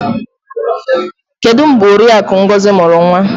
Kedu mgbe Oriakụ Ngozi mụrụ nwa?